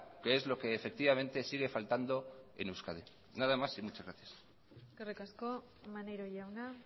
que es lo que efectivamente sigue faltando en euskadi nada más y muchas gracias eskerrik asko maneiro jauna